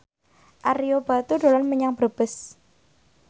Ario Batu dolan menyang Brebes